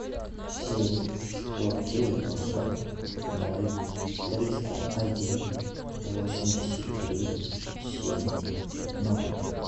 семь сто девяносто ноль триста один восемьдесят три семь ноль